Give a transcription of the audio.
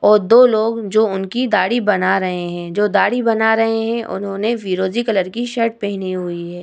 और दो लोग जो उनकी दाढ़ी बना रहे है जो दाढ़ी बना रहे है। उन्होंने फिरोजी कलर की शर्ट पहनी हुई है।